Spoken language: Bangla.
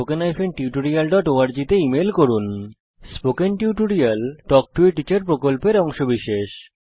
স্পোকেন টিউটোরিয়াল প্রকল্প তাল্ক টো a টিচার প্রকল্পের অংশবিশেষ